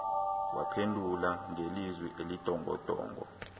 waphendula ngelizwi elindongondongo